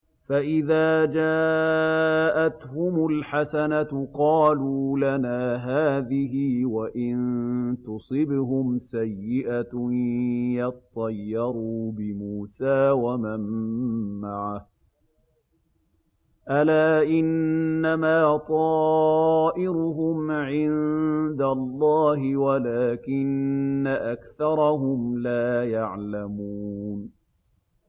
فَإِذَا جَاءَتْهُمُ الْحَسَنَةُ قَالُوا لَنَا هَٰذِهِ ۖ وَإِن تُصِبْهُمْ سَيِّئَةٌ يَطَّيَّرُوا بِمُوسَىٰ وَمَن مَّعَهُ ۗ أَلَا إِنَّمَا طَائِرُهُمْ عِندَ اللَّهِ وَلَٰكِنَّ أَكْثَرَهُمْ لَا يَعْلَمُونَ